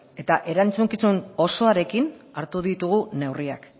eta erantzukizun osoarekin hartu ditugu neurriak